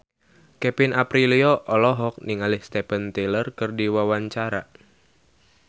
Kevin Aprilio olohok ningali Steven Tyler keur diwawancara